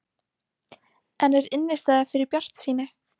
En er innistæða fyrir bjartsýni?